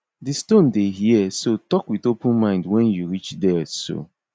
di stone dey hear so talk with open mind when you reach there so